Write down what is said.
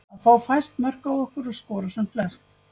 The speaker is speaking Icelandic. Að fá fæst mörk á okkur og skora sem flest.